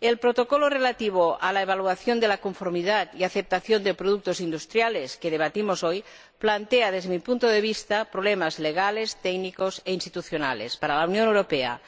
El Protocolo relativo a la evaluación de la conformidad y aceptación de productos industriales que debatimos hoy, plantea, desde mi punto de vista, problemas legales, técnicos e institucionales para la Unión Europea